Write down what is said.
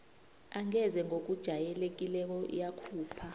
angeze ngokujayelekileko yakhupha